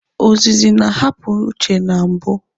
Ozizi ha na-apụ uche na mbụ.